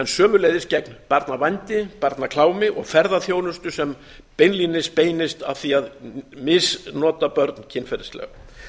sömuleiðis gegn barnavændi barnaklámi og ferðaþjónustu sem beinlínis beinir að því að misnota börn kynferðislega